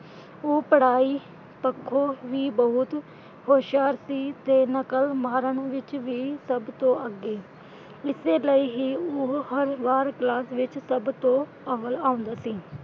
ਉਹ ਪੜ੍ਹਾਈ ਪੱਖੋਂ ਵੀ ਬਹੁਤ ਹੁਸ਼ਿਆਰ ਸੀ ਤੇ ਨਕਲ ਮਾਰਨ ਵਿਚ ਵੀ ਸਭ ਤੋਂ ਅੱਗੇ, ਇਸੇ ਲਈ ਹੀ ਉਹ ਹਰ ਵਾਰ ਕਲਾਸ ਵਿੱਚ ਸਭ ਤੋਂ ਅਵੱਲ ਆਉਂਦਾ ਸੀ।